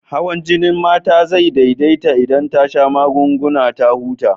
Hawan jinin Mama zai daidaita idan ta sha magungunan ta ta huta.